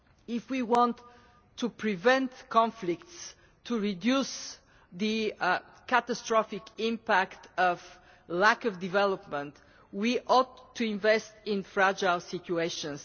If we want to prevent conflicts, to reduce the catastrophic impact of lack of development, we ought to invest in fragile situations.